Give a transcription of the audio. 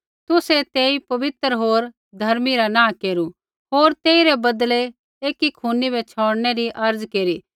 तुसै तेई पवित्र होर धर्मी रा नाँह केरू होर तेइरै बदलै एकी खूनी बै छ़ौड़नै री अर्ज़ा केरी